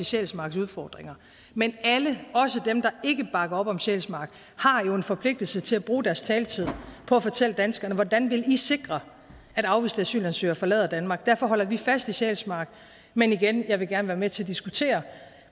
sjælsmarks udfordringer men alle også dem der ikke bakker op om sjælsmark har jo en forpligtelse til at bruge deres taletid på at fortælle danskerne hvordan vil i sikre at afviste asylansøgere forlader danmark derfor holder vi fast i sjælsmark men igen jeg vil gerne være med til at diskutere